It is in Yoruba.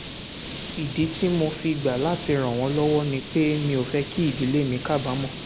ìdí tí mo fi gbà láti ràn wọ́n lọ́wọ́ ni pé mi ò fẹ́ kí ìdílé mi kábàámọ̀